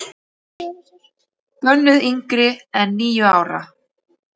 Bönnuð yngri en níu ára.